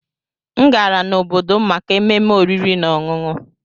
M gara n'obodo m maka ememe oriri na ọṅụṅụ